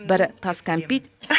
бірі тас кәмпит